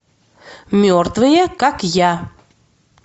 мертвые как я